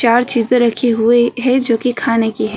चार चीजे रखी हुई है जो कि खाने की हैं।